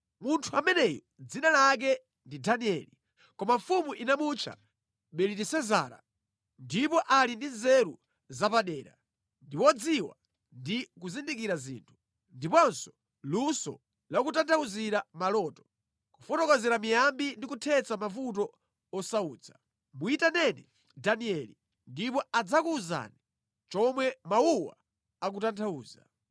Munthu ameneyu dzina lake ndi Danieli, koma mfumu inamutcha Belitesezara ndipo ali ndi nzeru zapadera, ndi wodziwa ndi kuzindikira zinthu, ndiponso luso lakutanthauzira maloto, kufotokozera miyambi ndi kuthetsa mavuto osautsa. Muyitaneni Danieli, ndipo adzakuwuzani chomwe mawuwa akutanthauza.”